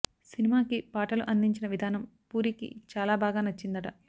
సినిమాకి పా టలు అందించిన విధానం పూరికి చాలా బాగా నచ్చిందట